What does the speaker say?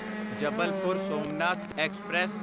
Jabalpur Somnath express